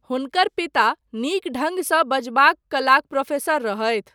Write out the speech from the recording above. हुनकर पिता नीक ढङ्गसँ बजबाक कलाक प्रोफेसर रहथि।